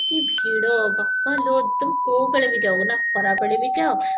କି ଭିଡ ବାପାଲୋ ତମେ କଉବେଳେ ବି ଯାଅ ନାଁ ଖରାବେଳେ ବି ଯାଅ